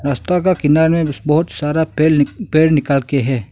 रास्ता का किनारे बहोत सारा पेड़ निकाल के है।